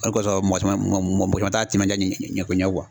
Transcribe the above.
O de kɔsɔn mɔgɔ caman t'a timinanja ɲako